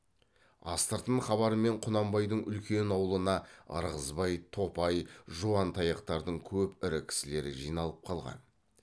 астыртын хабармен құнанбайдың үлкен аулына ырғызбай топай жуантаяқтардың көп ірі кісілері жиналып қалған